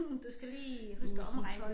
Du skal lige du skal omregne